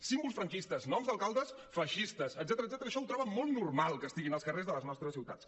símbols franquistes noms d’alcaldes feixistes etcètera això ho troben molt normal que estiguin als carrers de les nostres ciutats